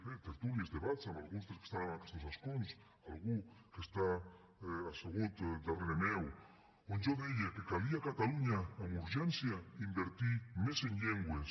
bé tertúlies debats amb alguns dels que estan en aquestos escons algú que està assegut darrere meu on jo deia que calia a catalunya amb urgència invertir més en llengües